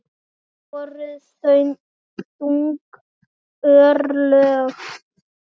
Það voru þung örlög.